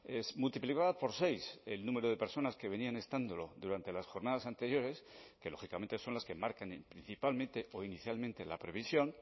es multiplicada por seis el número de personas que venían estándolo durante las jornadas anteriores que lógicamente son las que marcan principalmente o inicialmente la previsión